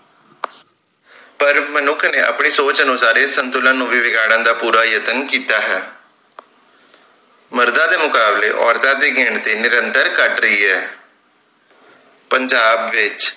ਪਰ ਮਨੁੱਖ ਨੇ ਆਪਣੀ ਸੋਚ ਅਨੁਸਾਰ ਇਸ ਸੰਤੁਲਨ ਨੂੰ ਵੀ ਵਿਗਾੜਨ ਦਾ ਪੂਰਾ ਯਤਨ ਕੀਤਾ ਹੈ ਮਰਦਾਂ ਦੇ ਮੁਕਾਬਲੇ ਔਰਤਾਂ ਦੀ ਗਿਣਤੀ ਨਿੰਰਤਰ ਘੱਟ ਰਹੀ ਹੈ ਪੰਜਾਬ ਵਿਚ।